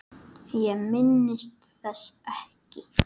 Ég minnist þess ekki.